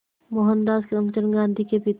मोहनदास करमचंद गांधी के पिता